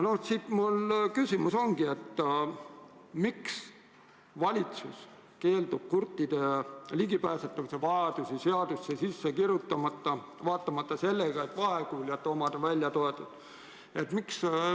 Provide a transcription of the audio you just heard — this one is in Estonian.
Mu küsimus ongi: miks valitsus keeldub seadusesse kirjutamast vajadust tagada kurtidele ligipääsetavus infole, kuigi vaegkuuljate vajadus on välja toodud?